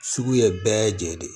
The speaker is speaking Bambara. Sugu ye bɛɛ jɛni ye